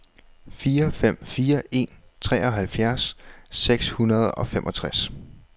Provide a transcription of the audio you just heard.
fire fem fire en treoghalvfjerds seks hundrede og femogtres